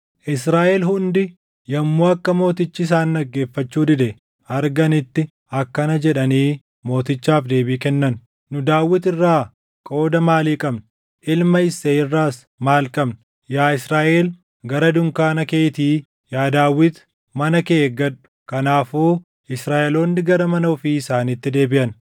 Israaʼel hundi yommuu akka mootichi isaan dhaggeeffachuu dide arganitti akkana jedhanii mootichaaf deebii kennan: “Nu Daawit irraa qooda maalii qabna? Ilma Isseey irraas maal qabna? Yaa Israaʼel gara dunkaana keetii! Yaa Daawit mana kee eeggadhu!” Kanaafuu Israaʼeloonni gara mana ofii isaaniitti deebiʼan.